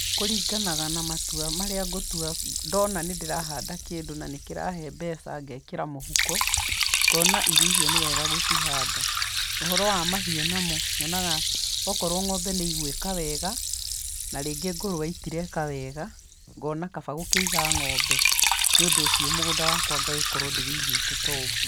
Kũringanaga na matua marĩa ngũtua ndona nĩ ndĩrahanda kĩndũ na nĩkĩrarehe mbeca ngekĩra mũhuko, ngona irio icio nĩ wega gũcihanda, ũhoro wa mahiũ namo nyonaga okorwo ng'ombe nĩ igwĩka wega, na rĩngĩ ngũrũwe itireka wega, ngona kaba gũkĩiga ng'ombe, nĩũndũ ũcio mũgũnda wakwa ngagĩkorwo ndĩũigĩte toguo.